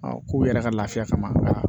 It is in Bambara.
k'u yɛrɛ ka lafiya kama